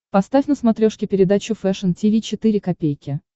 поставь на смотрешке передачу фэшн ти ви четыре ка